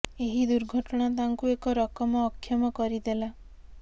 ଏହି ଦୁର୍ଘଟଣା ତାଙ୍କୁ ଏକ ରକମ ଅକ୍ଷମ କରି ଦେଲା